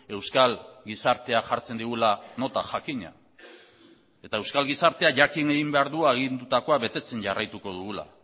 euskal gizartea jartzen digula nota jakina eta euskal gizartea jakin egin behar du agindutako betetzen jarraituko dugula